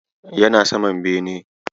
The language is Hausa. Yana saman bene.